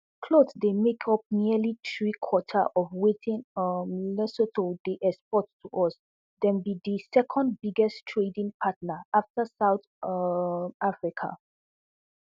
clothes dey make up nearly threequarters of wetin um lesotho dey export to us dem bi di second biggest trading partner afta south um africa